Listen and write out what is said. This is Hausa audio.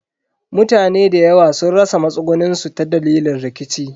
Mutane dayawa sun rasa matsugunin su ta dalilin rikici.